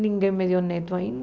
Ninguém me deu neto